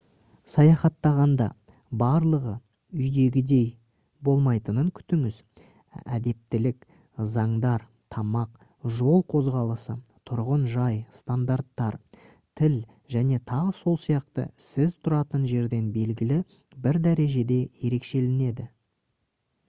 саяхаттағанда барлығы «үйдегідей» болмайтынын күтіңіз. әдептілік заңдар тамақ жол қозғалысы тұрғын жай стандарттар тіл және т.с.с. сіз тұратын жерден белгілі бір дәрежеде ерекшеленеді